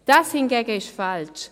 Das hingegen ist falsch.